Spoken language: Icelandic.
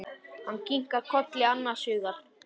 Hann kinkar kolli annars hugar.